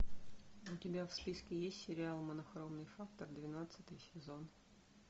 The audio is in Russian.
у тебя в списке есть сериал монохромный фактор двенадцатый сезон